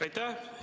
Aitäh!